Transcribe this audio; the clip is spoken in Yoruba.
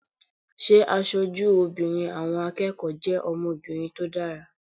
Ṣé aṣojú obìnrin àwọn akẹ́kọ̀ọ́ jẹ́ ọmọbìnrin tó dára?